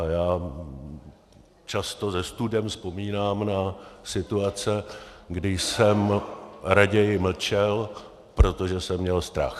A já často se studem vzpomínám na situace, kdy jsem raději mlčel, protože jsem měl strach.